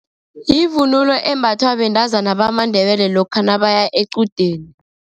Yivunulo embathwa bentazana bamaNdebele lokha nabaya equdeni.